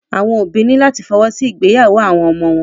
Àwọn òbí ní láti fọwọ́ sí ìgbéyàwó àwọn ọmọ wọn.